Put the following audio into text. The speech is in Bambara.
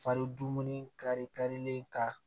Fari dumuni kari karilen ka